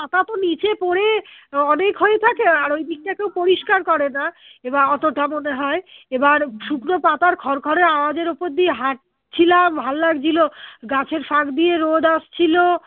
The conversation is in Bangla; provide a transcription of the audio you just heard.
পাতা তো নিচে পরে অনেক হয়ে থাকে আর ঐদিকটা কেউ পরিষ্কার করে না এবার অতটা মনে হয় এবার শুকনো পাতার খরখরে আওয়াজের ওপর দিয়ে হাঁটছিলাম ভাল লাগছিলো গাছের ফাঁক দিয়ে রোদ আসছিল